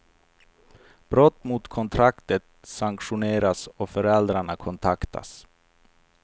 Brott mot kontraktet sanktioneras och föräldrarna kontaktas.